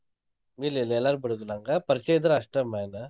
ಇಲ್ ಇಲ್ ಎಲ್ಲಾರ್ಗೂ ಬಿಡುದಿಲ್ಲ್ ಹಂಗ ಪರ್ಚ್ಯ ಇದ್ರ ಅಸ್ಟ್. main